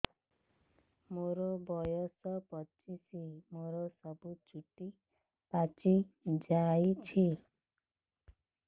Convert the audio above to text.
ମୋର ବୟସ ପଚିଶି ମୋର ସବୁ ଚୁଟି ପାଚି ଯାଇଛି